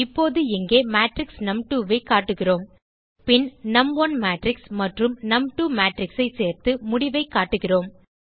இப்போது இங்கே மேட்ரிக்ஸ் நும்2 ஐ காட்டுகிறோம் பின் நும்1 மேட்ரிக்ஸ் மற்றும் நும்2 மேட்ரிக்ஸ் ஐ சேர்த்து முடிவைக் காட்டுகிறோம்